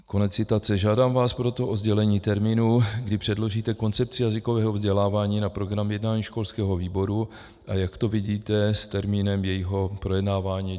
Žádám vás proto o sdělení termínu, kdy předložíte koncepci jazykového vzdělávání na program jednání školského výboru, a jak to vidíte s termínem jejího projednávání.